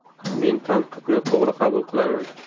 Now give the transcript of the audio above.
Men tanqidni to‘g‘ri qabul qilaman.